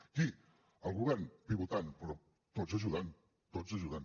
qui el govern pivotant però tots ajudant tots ajudant